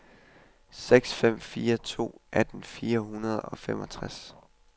seks fem fire to atten fire hundrede og femogtres